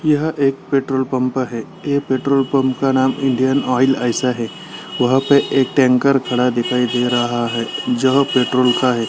यह एक petrol pump है | ये पेट्रोल पंप का नाम इंडियन आयल ऐसा है | वहाँ पे एक टेंकर खड़ा दिखाई दे रहा है जो पेट्रोल का है।